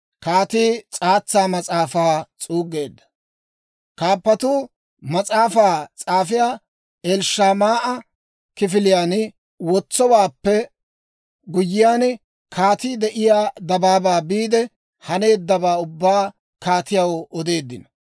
Kaappatuu mas'aafaa s'aafiyaa Elishamaa'a kifiliyaan wotsowaappe guyyiyaan, kaatii de'iyaa dabaabaa biide, haneeddawaa ubbaa kaatiyaw odeeddino.